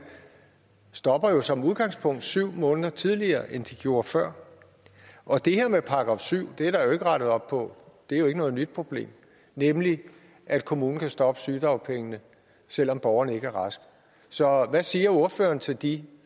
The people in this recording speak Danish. stopper jo som udgangspunkt syv måneder tidligere end de gjorde før og det her med § syv er der jo ikke rettet op på det er jo ikke noget nyt problem nemlig at kommunen kan stoppe sygedagpengene selv om borgeren ikke er rask så hvad siger ordføreren til de